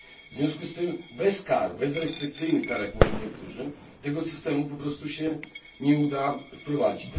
W związku z tym bez kar bez restrykcyjnych kar, jak mówią niektórzy tego systemu po prostu się nie uda wprowadzić.